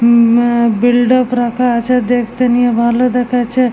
উম আ বিল্ডআপ রাখা আছে দেখতে নিয়ে ভালো দেখাচ্ছে ।